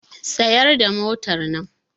Tsayar da motannan!